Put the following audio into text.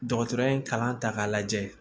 Dɔgɔtɔrɔ in kalan ta k'a lajɛ